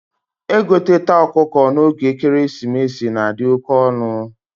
egoteta ọkụkọ na oge ekeresimesi na adi oke onu